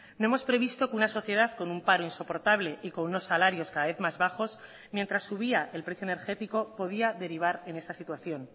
no hemos previsto que una sociedad con un paro insoportable y con unos salarios cada vez más bajos mientras subía el precio energético podía derivar en esa situación